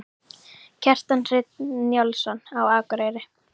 Kjartan Hreinn Njálsson: Á Akureyri?